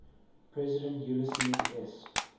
president ulysses s